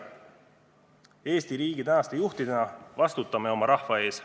Eesti riigi tänaste juhtidena vastutame oma rahva ees.